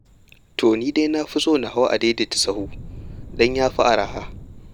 To ni dai na fi son na hau adaidaitasahu don ya fi arha.